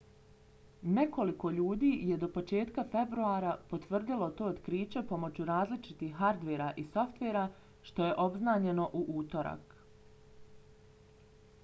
nekoliko ljudi je do početka februara potvrdilo to otkriće pomoću različitih hardvera i softvera što je obznanjeno u utorak